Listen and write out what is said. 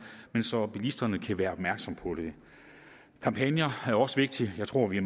men så bilisterne kan være opmærksomme på det kampagner er også vigtige jeg tror vi